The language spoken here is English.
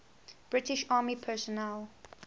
british army personnel